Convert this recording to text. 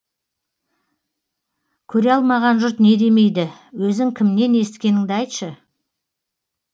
көре алмаған жұрт не демейді өзің кімнен есіткеніңді айтшы